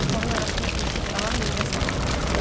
Delavar daşların arasına ilişib qalan meyidə sarı gedir.